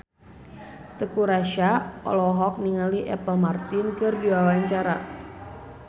Teuku Rassya olohok ningali Apple Martin keur diwawancara